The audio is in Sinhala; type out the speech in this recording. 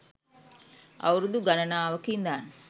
අවුරුදු ගණනාවක ඉඳන්